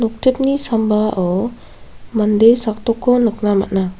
noktipni sambao mande sakdokko nikna man·a.